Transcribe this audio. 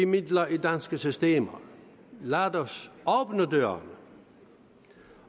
midler i danske systemer lad os åbne dørene